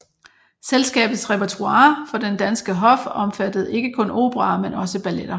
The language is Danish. Selskabets repertoire for den danske hof omfattede ikke kun operaer men også balletter